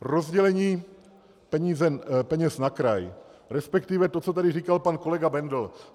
Rozdělení peněz na kraj, respektive to, co tady říkal pan kolega Bendl.